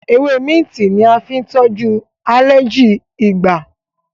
Ewe minti ní a fín tojú aleji igbà